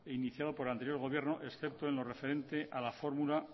iniciado por el anterior gobierno excepto en lo referente a la fórmula